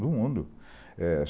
Do mundo. É